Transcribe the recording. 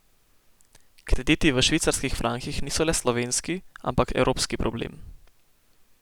Krediti v švicarskih frankih niso le slovenski, ampak evropski problem.